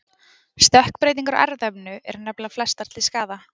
Stökkbreytingar á erfðaefninu eru nefnilega flestar til skaða.